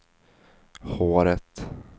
håret